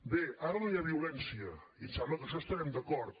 bé ara no hi ha violència i em sembla que amb això devem estar d’acord